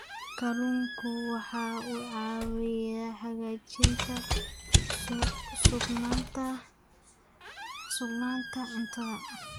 Kalluunku waxa uu caawiyaa hagaajinta sugnaanta cuntada.